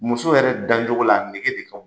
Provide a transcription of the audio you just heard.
Muso yɛrɛ dancogo la, a nege de ka